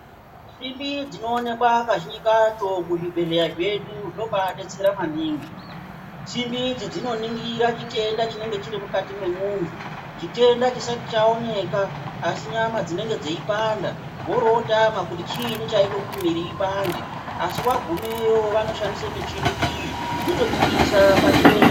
Simbi dzinoonekwa kazhinji kacho muzvibhehleya zvedu zvinobaadetsera maningi simbi idzi dzinoningira chitenda chinonga chiri mukati mwemunhu chitenda chisati chaoneka asi nyama dzinenge dzeipanda worootama kuti chinyi chaite kuti mwiri ipande asi wagumeyo vanoshandise michini iyi yotobudisa pachena chitendacho.